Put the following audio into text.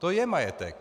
To je majetek!